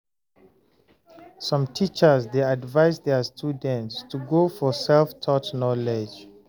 some teachers dey advice their students to go for self-taught knowledge